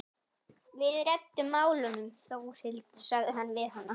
Við reddum málunum Þórhildur, sagði hann við hana.